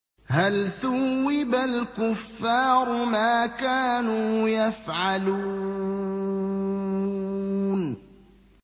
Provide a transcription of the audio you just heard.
هَلْ ثُوِّبَ الْكُفَّارُ مَا كَانُوا يَفْعَلُونَ